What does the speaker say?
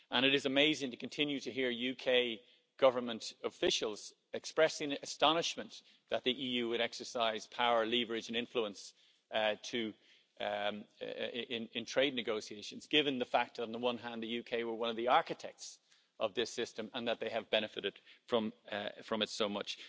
It is amazing to continue to hear UK government officials expressing astonishment that the EU would exercise power, leverage and influence in trade negotiations, given the fact, on the one hand, that the UK were one of the architects of this system and that they have benefited from it so much.